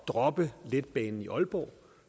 droppe letbanen i aalborg